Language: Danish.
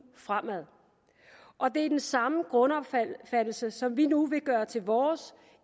fremad og det er den samme grundopfattelse som vi nu vil gøre til vores